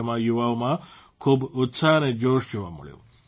તેમાં યુવાઓમાં ખૂબ ઉત્સાહ અને જોશ જોવા મળ્યા